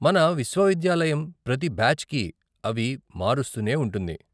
మన విశ్వవిద్యాలయం ప్రతి బ్యాచ్కి అవి మారుస్తూనే ఉంటుంది .